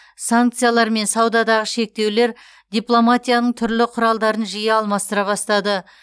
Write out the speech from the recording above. санкциялар мен саудадағы шектеулер дипломатияның дәстүрлі құралдарын жиі алмастыра бастады